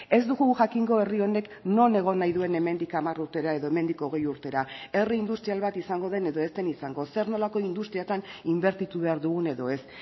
ez dugu jakingo herri honek non egon nahi duen hemendik hamar urtera edo hemendik hogei urtera herri industrial bat izango den edo ez den izango zer nolako industriatan inbertitu behar dugun edo ez